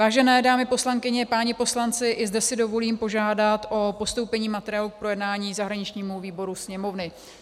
Vážené dámy poslankyně, páni poslanci, i zde si dovolím požádat o postoupení materiálu k projednání zahraničnímu výboru Sněmovny.